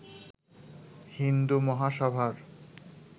Hindu মহাসভার